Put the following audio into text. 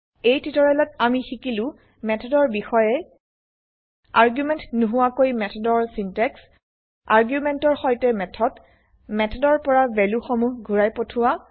এই টিউটোৰিয়েলত আমি শিকিলো মেথডৰ বিষয়ে আৰ্গুমেন্ট নহোৱাকৈ মেথডৰ চিন্টেক্স আৰ্গুমেন্টৰ সৈতে মেথড মেথডৰ পৰা ভেলু সমুহ ঘুৰাই পঠোৱা